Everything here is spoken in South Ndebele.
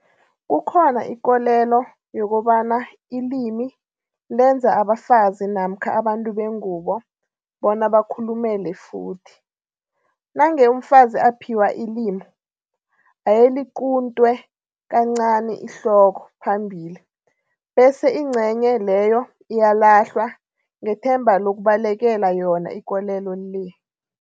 Kukhona ikolelo yokobana ilimi lenza abafazi namkha abantu bengubo bona bakhulumele futhi. Nange umfazi aphiwa ilimu, ayeliquntwe kancani ihloko phambili bese ingcenye leyo iyalahlwa ngethemba lokubalekela yona ikolelo le.